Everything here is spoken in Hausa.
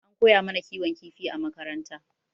An koya mana kiwon kifi a makaranta.